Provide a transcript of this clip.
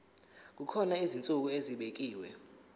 kukhona izinsuku ezibekiwe